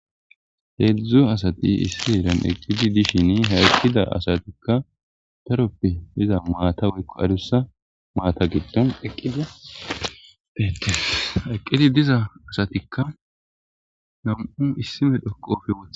Hedzdzu asati issi heeran eqqidi dishin ha asati adussa maata giddon eqqidi deettes.ha eqqidi diza asatikka nam77u isdi medho qoobe woththida.